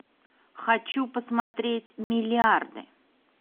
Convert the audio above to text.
хочу посмотреть миллиарды